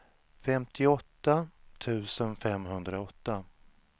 femtioåtta tusen femhundraåtta